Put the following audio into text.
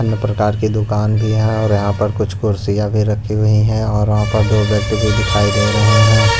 अन्य प्रकार की दुकान भी है और यहां पर कुछ कुर्सियां भी रखी हुई है और वहां पर दोव्यक्ति भी दिखाई दे रहे हैं।